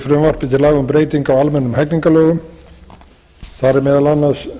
breytingu á almennum hegningarlögum þar er meðal annars